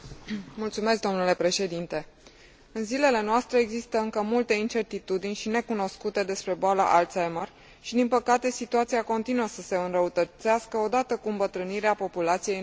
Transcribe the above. În zilele noastre există încă multe incertitudini și necunoscute despre boala Alzheimer și, din păcate, situația continuă să se înrăutățească, odată cu îmbătrânirea populației în Europa.